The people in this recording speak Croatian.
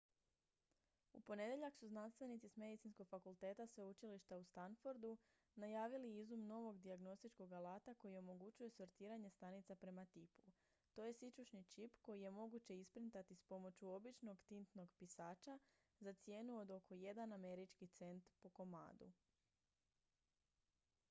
u ponedjeljak su znanstvenici s medicinskog fakulteta sveučilišta u stanfordu najavili izum novog dijagnostičkog alata koji omogućuje sortiranje stanica prema tipu to je sićušni čip koji je moguće isprintati s pomoću običnog tintnog pisača za cijenu od oko jedan američki cent po komadu